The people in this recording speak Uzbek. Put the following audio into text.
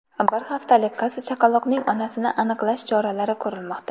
Bir haftalik qiz chaqaloqning onasini aniqlash choralari ko‘rilmoqda.